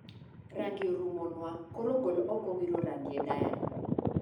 Rangi orumo nwa koro gol oko wiro rangi e dayari